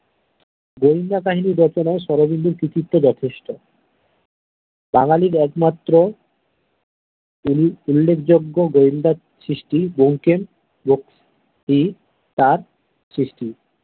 বন্যা কাহিনী রচনায় শরদিন্দুর কৃত্বিত যথেষ্ট বাঙালির একমাত্র উল্লেখ উল্লেখযোগ্য গয়েন্দার সৃষ্টি ব্যোমকেশ বক্সী তার সৃষ্টি।